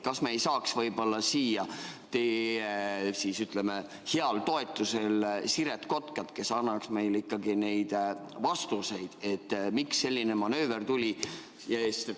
Kas me ei saaks siia teie heal toetusel Siret Kotkat, kes annaks meile ikkagi vastuse, miks selline manööver tehti?